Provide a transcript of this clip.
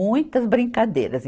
Muitas brincadeiras.